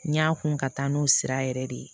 N y'a kun ka taa n'o sira yɛrɛ de ye